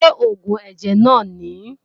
Ṣé oògùn ẹ̀jẹ̀ náà nìí?